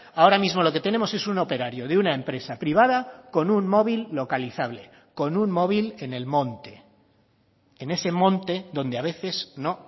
ahora mismo lo que tenemos es un operario de una empresa privada con un móvil localizable con un móvil en el monte en ese monte donde a veces no